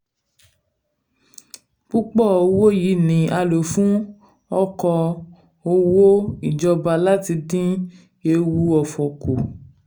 púpọ̀ owó yìí ni a lò fún oko òwò ìjọba láti dín ewu òfò kù.